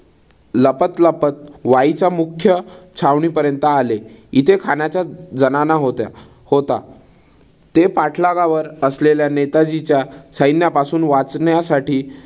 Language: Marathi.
लपत लपत वाईच्या मुख्य छावणीपर्यंत आले. इथे खानाचा जनाना होत्या होता. ते पाठलागावर असलेल्या नेताजीच्या सैन्यापासून वाचण्यासाठी